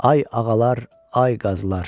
Ay ağalar, ay qazılar.